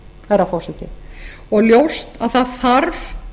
herra forseti og ljóst að það þarf